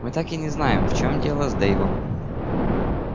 мы так и не знаем в чём дело с дейвом